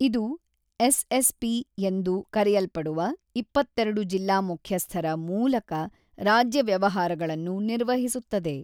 ಇದು ಎಸ್ಎಸ್ಪಿ ಎಂದು ಕರೆಯಲ್ಪಡುವ ಇಪ್ಪತ್ತೆರಡು ಜಿಲ್ಲಾ ಮುಖ್ಯಸ್ಥರ ಮೂಲಕ ರಾಜ್ಯ ವ್ಯವಹಾರಗಳನ್ನು ನಿರ್ವಹಿಸುತ್ತದೆ.